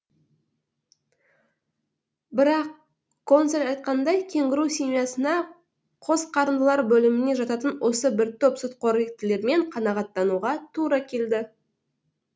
бірақ консель айтқандай кенгуру семьясына қосқарындылар бөліміне жататын осы бір топ сүтқоректілермен қанағаттануға тура келді